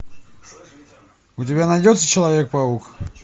у тебя найдется человек паук